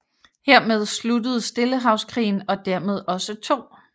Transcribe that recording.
Hermed sluttede Stillehavskrigen og dermed også 2